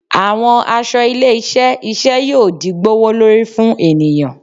Awọn aṣọ ile-iṣẹ iṣẹ yoo di gbowolori fun eniyan